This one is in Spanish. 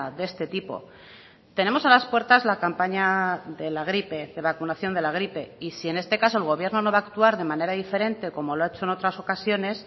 de este tipo tenemos a las puertas la campaña de la gripe de la vacunación de la gripe y si en este caso el gobierno no va actuar de manera diferente a como lo ha hecho en otras ocasiones